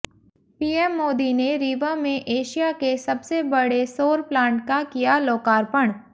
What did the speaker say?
PM Modi ने रीवा में Asia के सबसे बड़े सौर प्लांट का किया लोकार्पण